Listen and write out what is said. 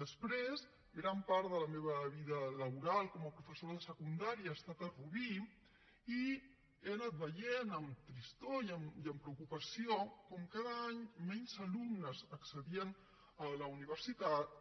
després gran part de la meva vida laboral com a professora de secundària ha estat a rubí i he anat veient amb tristor i amb preocupació com cada any menys alumnes accedien a la universitat